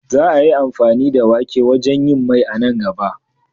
Za a yi amfani da wake wajen yin Mai a nan gaba.